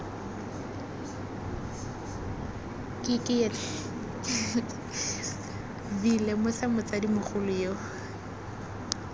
v lemosa motsadi mogolo yo